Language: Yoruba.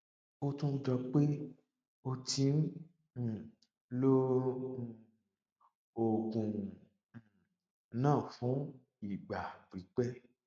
ó tún jọ pé o ti ń um lo um oògùn um náà fún ìgbà pípẹ